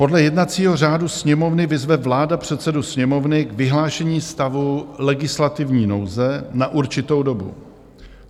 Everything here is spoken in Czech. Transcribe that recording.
Podle jednacího řádu Sněmovny vyzve vláda předsedu Sněmovny k vyhlášení stavu legislativní nouze na určitou dobu.